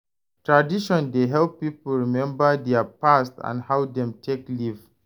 Tradition dey help pipo remmba dia past and how dem take live